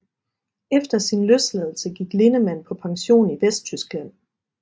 Efter sin løsladelse gik Lindemann på pension i Vesttyskland